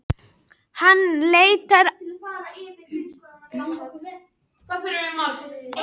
Hann leitar einnig norður meðfram vesturströndinni og beygir síðan austur með norðurströndinni.